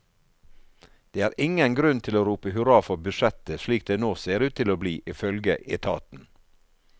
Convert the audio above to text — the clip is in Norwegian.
Det er ingen grunn til å rope hurra for budsjettet slik det nå ser ut til å bli, ifølge etaten.